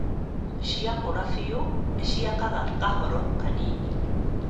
Ciakũra biũ, nĩ ciakaga kahoro kanini